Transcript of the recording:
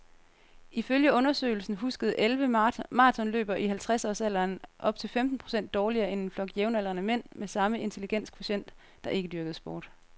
Ifølge undersøgelsen huskede elleve maratonløbere i halvtredsårsalderen op til femten procent dårligere end en flok jævnaldrende mænd med samme intelligenskvotient, der ikke dyrkede sport.